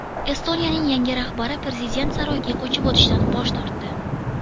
Estoniyaning yangi rahbari prezident saroyiga ko‘chib o‘tishdan bosh tortdi.